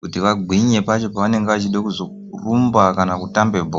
kuti vagwinye pacho pavanenge vachida kuzorumba kana kutamba Bhora .